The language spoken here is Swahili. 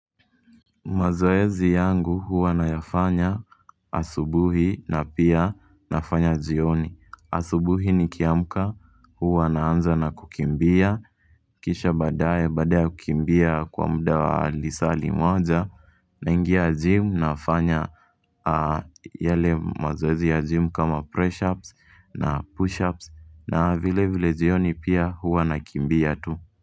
Mazoezi yangu huwa na yafanya asubuhi na pia nafanya jioni. Asubuhi nikiamka huwa naanza na kukimbia, Kisha badaye baada ya kukimbia kwa muda wa lisa limoja, naingia gym nafanya yale mazoezi ya gym kama press ups na push ups na vile vile jioni pia huwa nakimbia tu.